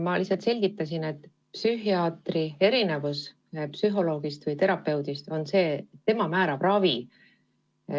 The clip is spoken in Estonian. Ma lihtsalt selgitasin, et psühhiaatri erinevus psühholoogist või terapeudist on see, et tema määrab ravi.